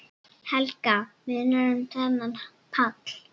Helga: Munar um þennan pall?